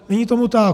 Není tomu tak.